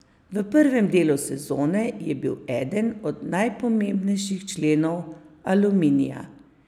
V prvem delu sezone je bil eden od najpomembnejših členov Aluminija.